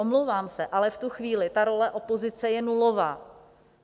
Omlouvám se, ale v tu chvíli ta role opozice je nulová.